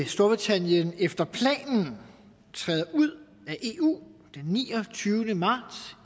storbritannien efter planen træder ud af eu den niogtyvende marts